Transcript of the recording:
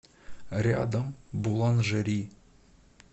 рядом буланжери